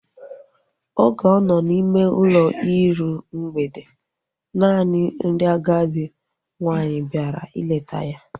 Oge ọ nọ n' ime ụlọ iru mgbede, naanị ndị agadi nwaanyị bịara ileta ya